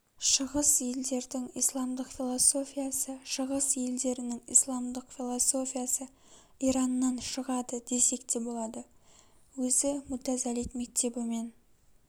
шығыс елдердің исламдық философиясы шығыс елдерінің исламдық философиясы ираннан шығады десек те болады өзі мутазалит мектебімен